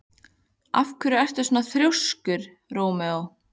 Af hverju ertu svona þrjóskur, Rómeó?